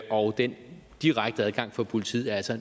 og den direkte adgang for politiet er altså